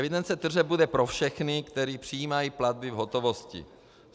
Evidence tržeb bude pro všechny, kteří přijímají platby v hotovosti.